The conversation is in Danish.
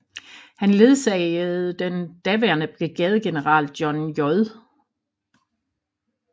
Han ledsagede den daværende brigadegeneral John J